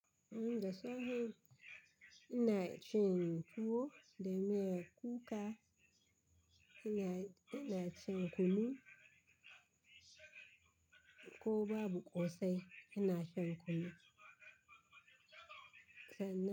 Umm dasafe ina cin tuwo, da miyan kuka ina, ina cin kunu. Ko babu ƙosai ina shan kunu.